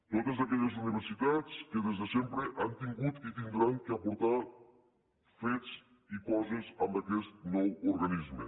totes aquelles universitats que des de sempre han tingut i hauran d’aportar fets i coses amb aquest nou organisme